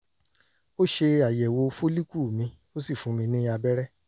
ó ṣe àyẹ̀wò fólíkù mi ó sì fún mi ní abẹ́rẹ́